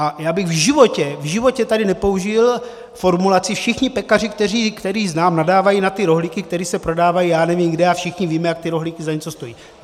A já bych v životě, v životě tady nepoužil formulaci: všichni pekaři, které znám, nadávají na ty rohlíky, které se prodávají já nevím kde, a všichni víme, jak ty rohlíky za něco stojí.